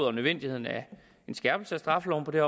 og nødvendigheden af en skærpelse af straffeloven på det